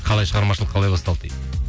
қалай шығармашылық қалай басталды дейді